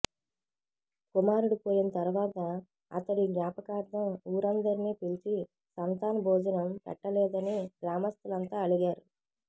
కుమారుడు పోయిన తరువాత అతడి జ్ఞాపకార్థం ఊరందిరినీ పిలిచి సంతాన్ భోజనం పెట్టలేదని గ్రామస్థులంతా అలిగారు